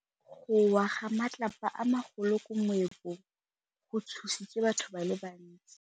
Go wa ga matlapa a magolo ko moepong go tshositse batho ba le bantsi.